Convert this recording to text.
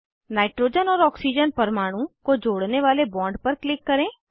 nitrogen और oxygen परमाणु को जोड़ने वाले बॉन्ड पर क्लिक करें